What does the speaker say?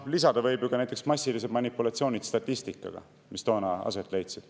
Lisada võib ju ka näiteks massilised manipulatsioonid statistikaga, mis toona aset leidsid.